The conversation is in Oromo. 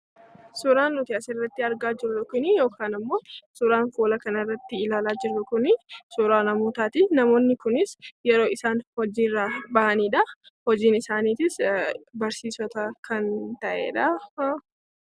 Suuraan nuti asirratti argaa jirru kunii yookaan immoo suuraan fuula kanarratti ilaalaa jirru kunii suura namootaati. Namoonni kunis yeroo isaan hojiirraa ba'anidha. Hojiin isaaniitiis barsiisota kan ta'edha.